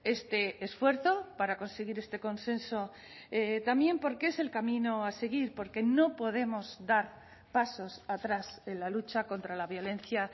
este esfuerzo para conseguir este consenso también porque es el camino a seguir porque no podemos dar pasos atrás en la lucha contra la violencia